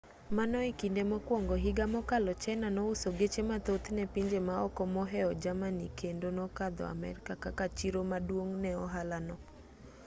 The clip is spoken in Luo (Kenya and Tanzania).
mano e kinde mokwongo higa mokalo china nouso geche mathoth ne pinje maoko moheo germany kendo nokadho amerka kaka chiro maduong' ne ohala no